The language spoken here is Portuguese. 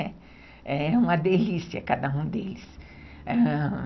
É é uma delícia cada um deles, ãh